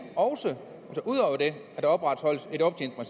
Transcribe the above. også at opretholde